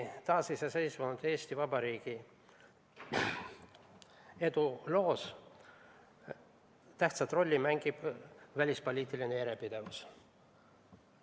Taasiseseisvunud Eesti Vabariigi eduloos mängib tähtsat rolli välispoliitiline järjepidevus.